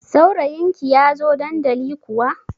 Saurayin ki ya zo dandali kuwa?